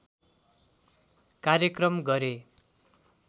कार्यक्रम गरे